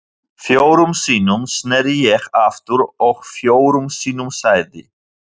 Fjórum sinnum sneri ég aftur og fjórum sinnum sagði